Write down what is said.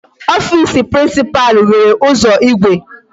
Office principal nwere ụzọ igwe.